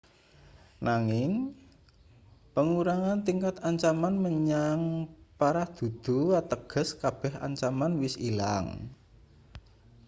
nanging pengurangan tingkat ancaman menyang parah dudu ateges kabeh ancaman wis ilang